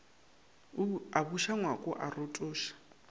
a buša ngwako a rotoša